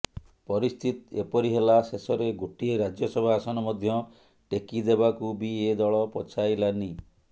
ପରିସ୍ଥିତି ଏପରି ହେଲା ଶେଷରେ ଗୋଟିଏ ରାଜ୍ୟସଭା ଆସନ ମଧ୍ୟ ଟେକିଦେବାକୁ ବି ଏ ଦଳ ପଛାଇଲାନି